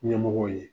Ɲɛmɔgɔw ye